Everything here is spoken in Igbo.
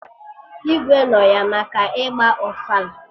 Igwe nọ ya maka ịgba ofala